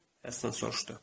Herston soruşdu.